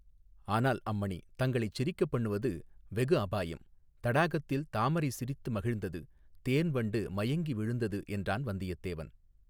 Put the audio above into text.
ஆனால் அம்மணி தங்களைச் சிரிக்கப் பண்ணுவது வெகு அபாயம் தடாகத்தில் தாமரை சிரித்து மகிழ்ந்தது தேன் வண்டு மயங்கி விழுந்தது என்றான் வந்தியத்தேவன்.